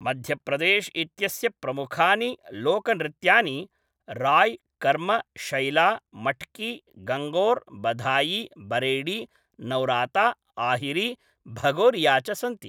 मध्यप्रदेश्इत्यस्य प्रमुखानि लोकनृत्यानि राय्, कर्म, शैला, मट्की, गङ्गोर्, बधायी, बरेडी, नौराता, आहिरी, भगोरिया च सन्ति।